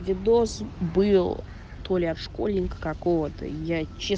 где доз был только школьника какого то я че